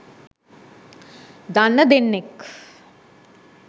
දන්න දෙන්නෙක්